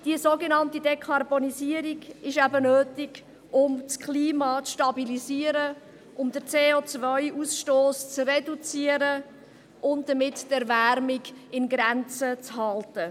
Diese sogenannte Dekarbonisierung ist nötig, um das Klima zu stabilisieren und den CO-Ausstoss zu reduzieren, um damit die Erwärmung in Grenzen zu halten.